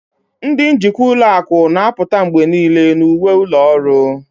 Ndị njikwa ụlọ akụ na-apụta mgbe niile na uwe ụlọ ọrụ